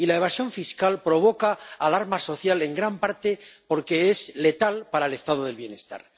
Y la evasión fiscal provoca alarma social, en gran parte porque es letal para el Estado del bienestar.